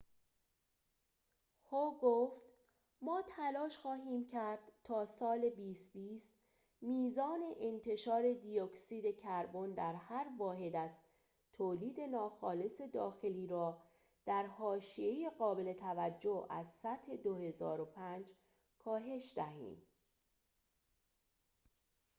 هو گفت ما تلاش خواهیم کرد تا سال ۲۰۲۰ میزان انتشار دی اکسید کربن در هر واحد از تولید ناخالص داخلی را در حاشیه‌ای قابل توجه از سطح ۲۰۰۵ کاهش دهیم